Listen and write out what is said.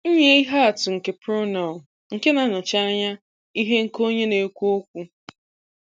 Nye ihe atụ nke pronoun nke na-anọchi anya ihe nke onye na-ekwu okwu.\n